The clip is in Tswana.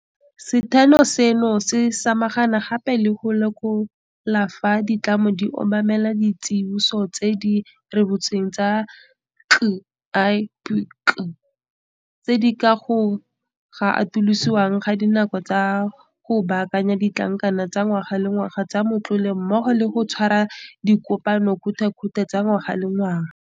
Setheo seno se samagana gape le go lekola fa ditlamo di obamela ditsiboso tse di rebotsweng ke CIPC, tse di ka ga go atolosiwa ga dinako tsa go baakanya ditlankana tsa ngwaga le ngwaga tsa matlole mmogo le go tshwara dikopanokgothakgothe tsa ngwaga le ngwaga.